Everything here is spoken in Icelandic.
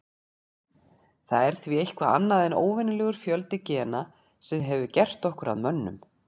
Það er því eitthvað annað en óvenjulegur fjöldi gena sem hefur gert okkur að mönnum.